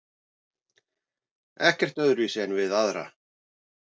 Ekkert öðruvísi en við aðra.